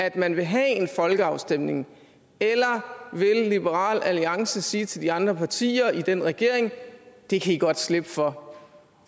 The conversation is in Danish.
at man vil have en folkeafstemning eller vil liberal alliance sige til de andre partier i den regering at det kan i godt slippe for for